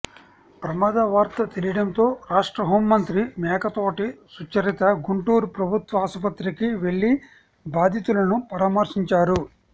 ప్రమాదవార్త తెలియడంతో రాష్ట్ర హోంమంత్రి మేకతోటి సుచరిత గుంటూరు ప్రభుత్వ ఆసుపత్రికి వెళ్లి బాధితులను పరామర్శించారు